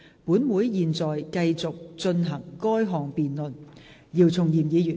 本會現在繼續進行該項辯論。